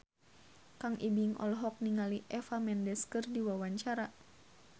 Kang Ibing olohok ningali Eva Mendes keur diwawancara